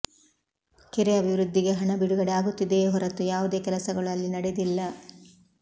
ಕೆರೆ ಅಭಿವೃದ್ಧಿಗೆ ಹಣ ಬಿಡುಗಡೆ ಆಗುತ್ತಿದೆಯೇ ಹೊರತು ಯಾವುದೇ ಕೆಲಸಗಳು ಅಲ್ಲಿ ನಡೆದಿಲ್ಲ